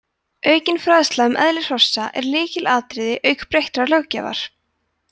aukin fræðsla um eðli hrossa er lykilatriði auk breyttrar löggjafar